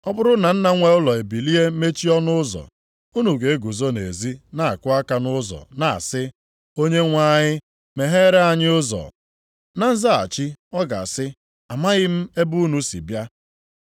Ọ bụrụ na nna nwe ụlọ ebilie mechie ọnụ ụzọ, unu ga-eguzo na-ezi na-akụ aka nʼụzọ na-asị, ‘Onyenwe anyị meghere anyị ụzọ.’ “Na nzaghachi, ọ ga-asị, ‘Amaghị m ebe unu si bịa.’